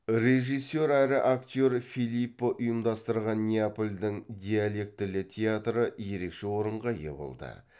режиссер әрі актер филиппо ұйымдастырған неапольдің диалектілі театры ерекше орынға ие болды